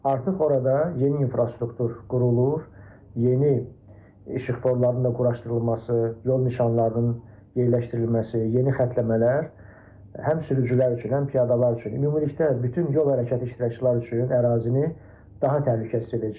Artıq orada yeni infrastruktur qurulur, yeni işıqforların da quraşdırılması, yol nişanlarının yerləşdirilməsi, yeni xətləmələr həm sürücülər üçün, həm piyadalar üçün ümumilikdə bütün yol hərəkəti iştirakçılar üçün ərazini daha təhlükəsiz edəcək.